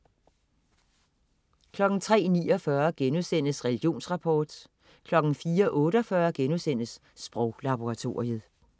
03.49 Religionsrapport* 04.48 Sproglaboratoriet*